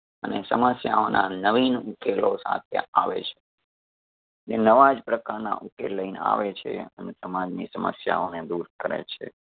અને સમસ્યાઓ ના નવીન ઉકેલો સાથે આવે છે. ને નવા જ પ્રકારના ઉકેલ લઈને આવે છે અને સમાજ ની સમસ્યાઓ ને દૂર કરે છે.